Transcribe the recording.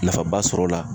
Nafaba sɔrɔ o la